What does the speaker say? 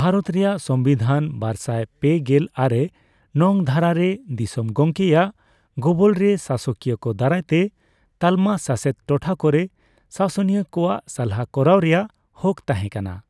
ᱵᱷᱟᱨᱚᱛ ᱨᱮᱭᱟᱜ ᱥᱚᱝᱵᱤᱫᱷᱟᱱ ᱵᱟᱨᱥᱟᱭ ᱯᱮᱜᱮᱞ ᱟᱨᱮ ᱱᱚᱝ ᱫᱷᱟᱨᱟ ᱨᱮ ᱫᱤᱥᱚᱢ ᱜᱚᱢᱠᱮᱭᱟᱜ ᱜᱚᱵᱚᱞ ᱨᱮ ᱥᱟᱥᱚᱠᱤᱭᱟᱹ ᱠᱚ ᱫᱟᱨᱟᱭ ᱛᱮ ᱛᱟᱞᱢᱟ ᱥᱟᱥᱮᱛ ᱴᱚᱴᱷᱟ ᱠᱚᱨᱮ ᱥᱟᱥᱚᱱᱤᱭᱟᱹ ᱠᱚᱣᱟᱜ ᱥᱟᱞᱦᱟ ᱠᱚᱨᱟᱣ ᱨᱮᱭᱟᱜ ᱦᱚᱠ ᱛᱟᱦᱮᱸ ᱠᱟᱱᱟ ᱾